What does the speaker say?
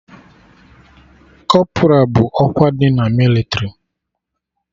Kọpra bụ ọkwa dị na mịlịtrị